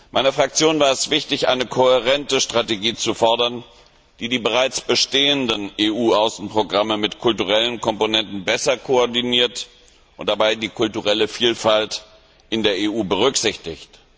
Meiner Fraktion war es wichtig, eine kohärente Strategie zu fordern, die die bereits bestehenden EU Außenprogramme mit kulturellen Komponenten besser koordiniert und dabei die kulturelle Vielfalt in der EU berücksichtigt.